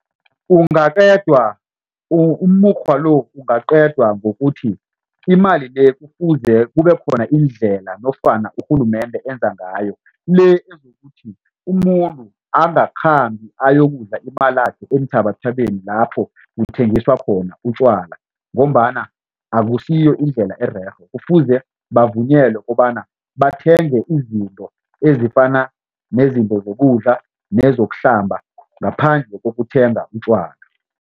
Ungaqedwa umukghwa lo ungaqedwa ngokuthi imali le kufuze kubekhona indlela nofana urhulumende enza ngayo le ezokuthi umuntu angakhambi ayokudla imalakhe eenthabathabeni lapho kuthengiswa khona utjwala ngombana akusiyo indlela ererhe kufuze bavunyelwe kobana bathenge izinto ezifana nezinto zokudla nezokuhlamba ngaphandle kokuthenga utjwala.